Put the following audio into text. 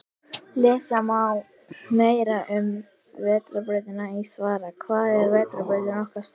Lesa má meira um Vetrarbrautina í svarinu Hvað er vetrarbrautin okkar stór?